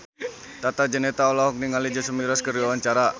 Tata Janeta olohok ningali Jason Mraz keur diwawancara